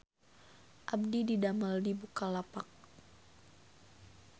Abdi didamel di Bukalapak